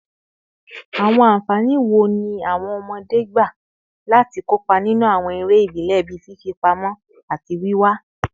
Awọn anfani wo ni awọn ọmọde gba lati kopa ninu awọn ere ibile bii fifipamọ ati wiwa?